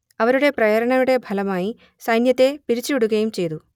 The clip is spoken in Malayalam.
അവരുടെ പ്രേരണയുടെ ഫലമായി സൈന്യത്തെ പിരിച്ചുവിടുകയും ചെയ്തു